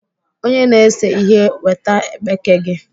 Onye na-ese ihe weta ekpeke gị!